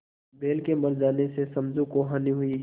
बैल के मर जाने से समझू को हानि हुई